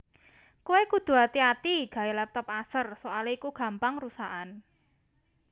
Kowe kudu ati ati gawe laptop Acer soale iku gampang rusakan